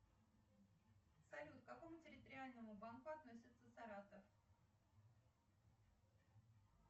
салют к какому территориальному банку относится саратов